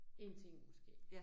Én ting måske